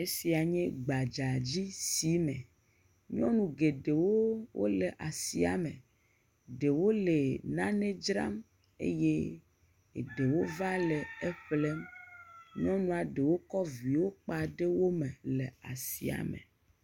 Esia nye gbadzadzisime, nyɔnu geɖewo wole asia me, ɖewo le nane dzram, eye ɖewo va le eƒlem, nyɔnua ɖewo kɔ viwo kpa ɖe wo me le asia me.